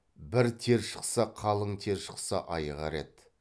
бір тер шықса қалың тер шықса айығар еді